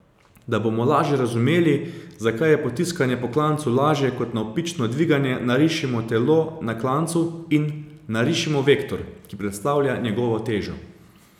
Da bomo lažje razumeli, zakaj je potiskanje po klancu lažje kot navpično dviganje, narišimo telo na klancu in narišimo vektor, ki predstavlja njegovo težo.